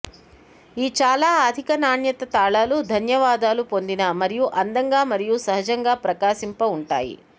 ఈ చాలా అధిక నాణ్యత తాళాలు ధన్యవాదాలు పొందిన మరియు అందంగా మరియు సహజంగా ప్రకాశింప ఉంటాయి